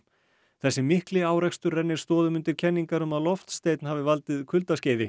þessi mikli árekstur rennir stoðum undir kenningar um að loftsteinn hafi valdið kuldaskeiði